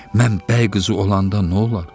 Mən bəy qızı olanda nolar?